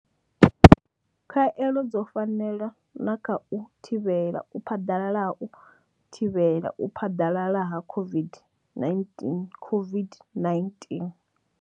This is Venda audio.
Khaelo dzo fanela na kha u thivhela u phaḓalala ha u thivhela u phaḓalala ha COVID-19 COVID-19.